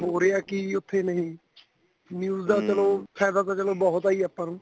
ਹੋ ਰਿਹਾ ਕੀ ਉੱਥੇ ਨੀਂ news ਦਾ ਚਲੋ ਫਾਇਦਾ ਤਾਂ ਚਲੋ ਬਹੁਤ ਏ ਜੀ ਆਪਾਂ ਨੂੰ